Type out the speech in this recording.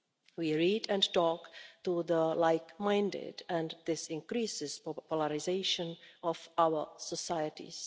We read and talk to the like minded, and this increases the polarisation of our societies.